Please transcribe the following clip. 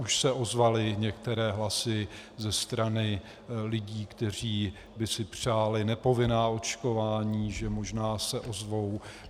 Už se ozvaly některé hlasy ze strany lidí, kteří by si přáli nepovinná očkování, že možná se ozvou.